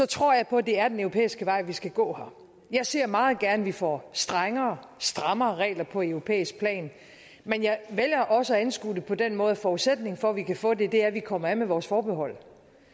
tror jeg på at det er den europæiske vej vi skal gå jeg ser meget gerne at vi får strengere strammere regler på europæisk plan men jeg vælger også at anskue det på den måde at forudsætningen for at vi kan få det er at vi kommer af med vores forhold